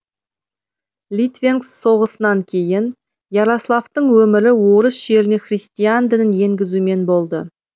литвенкс соғысынан кейін ярославтың өмірі орыс жеріне христиан дінін енгізуімен болды